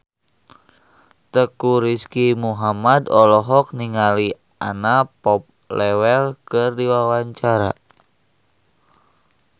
Teuku Rizky Muhammad olohok ningali Anna Popplewell keur diwawancara